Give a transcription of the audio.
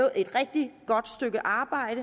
og et rigtig godt stykke a